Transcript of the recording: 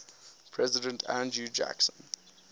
president andrew jackson